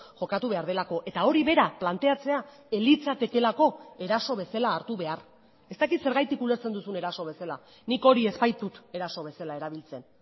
jokatu behar delako eta hori bera planteatzea ez litzatekeelako eraso bezala hartu behar ez dakit zergatik ulertzen duzun eraso bezala nik hori ez baitut eraso bezala erabiltzen